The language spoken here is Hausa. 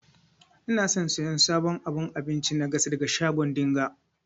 Ina son siyan sabon abun abinci na gas daga shago dinga.